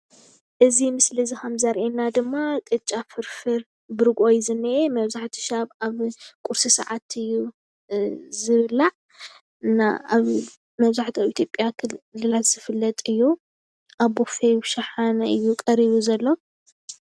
እዚ ምስሊ እዚ ከም ዘርእየና ድማ ቅጫ ፍርፍር ብርግኦ እዩ ዝኒአ። መብዛሕትኡ ሻብ ኣብ ቁርሲ ሰዓት እዩ ዝብላዕ። እና ኣብ መብዛሕትኡ ኣብ ኢትዮጵያ ዝፍለጥ እዩ። ኣብ ቦፌ ፣ኣብ ሻሓነ እዩ ቀሪቡ ዘሎ።